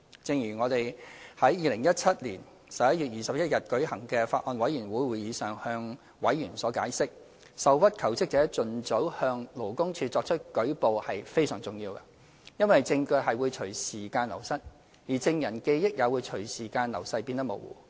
正如我們在2017年11月21日舉行的法案委員會會議上向委員所解釋，受屈求職者盡早向勞工處作出舉報是非常重要的，因為證據會隨時間流失，證人的記憶也會隨着時間流逝而變得模糊。